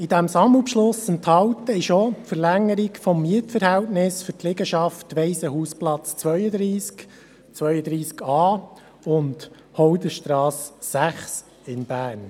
In diesem Sammelbeschluss enthalten ist auch die Verlängerung des Mietverhältnisses für die Liegenschaft am Waisenhausplatz 32 sowie an der Hodlerstrasse 6 in Bern.